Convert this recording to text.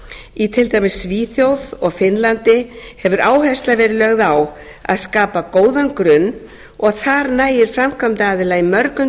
í til dæmis svíþjóð og finnlandi hefur áhersla verið lögð á að skapa góðan grunn og þar nægir framkvæmdaraðila í mörgum